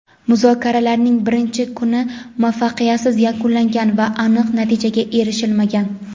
muzokaralarning birinchi kuni muvaffaqiyatsiz yakunlangan va aniq natijaga erishilmagan.